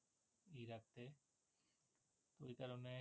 ওই কারণে